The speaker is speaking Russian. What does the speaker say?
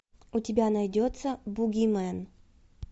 у тебя найдется бугимен